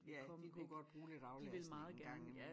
Ja de kunne godt bruge lidt aflastning en gang i mellem